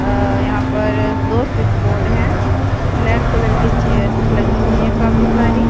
अ यहां पर दो स्विच बोर्ड है ब्लैक कलर के चेयर्स लगी हुई हैं काफी सारी।